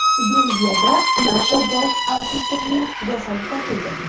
Belgiyada NATO bosh auditorining jasadi topildi.